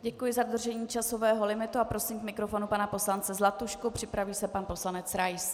Děkuji za dodržení časového limitu a prosím k mikrofonu pana poslance Zlatušku, připraví se pan poslanec Rais.